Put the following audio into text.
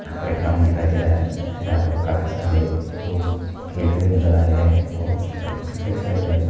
ground दिखाई दे रहा है जहां पर काफी सारे लोग खेलते हुए नजर आ रहे हैं| क्रिकेट खेल रहे हैं वहां पर |